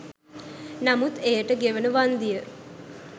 නමුත් එයට ගෙවන වන්දිය